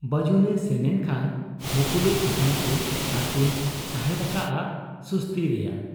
ᱵᱟᱹᱡᱩᱱᱮ ᱥᱮᱱᱮᱱ ᱠᱷᱟᱱ ᱢᱩᱯᱩᱞᱩᱡ ᱟᱠᱟᱱᱟᱠᱤᱱ ᱟᱨᱠᱤᱱ ᱥᱟᱦᱮᱸᱫ ᱟᱠᱟᱜ ᱟ ᱥᱩᱥᱩᱛᱤ ᱨᱮᱭᱟᱜ ᱾